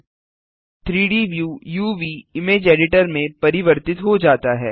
3डी व्यू uvइमेज एडिटर में परिवर्तित हो जाता है